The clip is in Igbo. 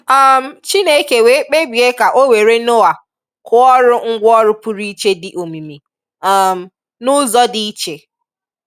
um Chineke wee kpebìe ka ọ wèrè Noah kụọ̀rụ̀ ngwòòrù pụrụ iche dị omími um n’ụzọ dị iche.